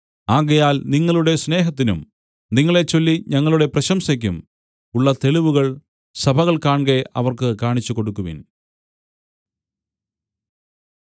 ആകയാൽ നിങ്ങളുടെ സ്നേഹത്തിനും നിങ്ങളെച്ചൊല്ലി ഞങ്ങളുടെ പ്രശംസയ്ക്കും ഉള്ള തെളിവ് സഭകൾ കാൺകെ അവർക്ക് കാണിച്ചുകൊടുക്കുവിൻ